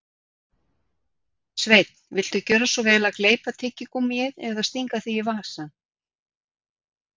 Sveinn, viltu gjöra svo vel að gleypa tyggigúmmíið eða stinga því í vasann